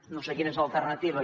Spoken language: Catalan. no sé quina és l’alternativa